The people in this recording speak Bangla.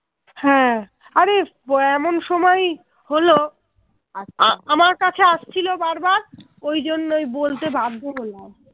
ওই জন্যেই বলতে বাধ্য হলাম